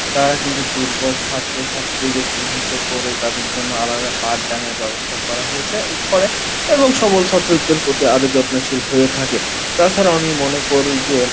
তারা কিন্তু দূর্বল ছাত্র ছাত্রীদের চিহ্নিত করে তাদের জন্য আলাদা পাঠদানের ব্যাবস্থা করা হয়ছে করে এবং সকল ছাত্রদের প্রতি আরো যত্নশীল হয়ে থাকে তাছাড়া আমি মনে করি যে